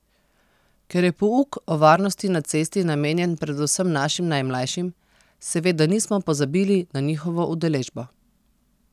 Ker je pouk o varnosti na cesti namenjen predvsem našim najmlajšim, seveda nismo pozabili na njihovo udeležbo.